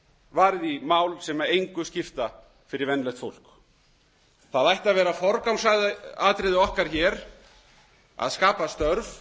varið í mál sem engu skipta fyrir venjulegt fólk það ætti að vera forgangsatriði okkar að skapa störf